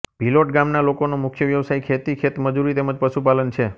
ભીલોટ ગામના લોકોનો મુખ્ય વ્યવસાય ખેતી ખેતમજૂરી તેમ જ પશુપાલન છે